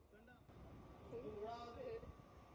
Düşürəm də.